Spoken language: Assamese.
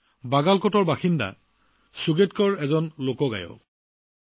অঞ্চলটোৰ বাগাল কৰ্টৰ বাসিন্দা সুগেৎকাৰ জী এজন লোকগায়ক